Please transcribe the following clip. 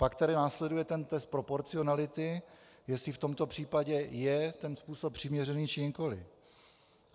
Pak tedy následuje ten test proporcionality, jestli v tomto případě je ten způsob přiměřený, či nikoli.